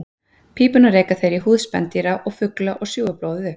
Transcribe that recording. Pípuna reka þeir í húð spendýra og fugla og sjúga blóðið upp.